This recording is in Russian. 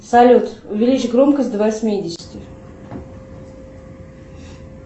салют увеличь громкость до восьмидесяти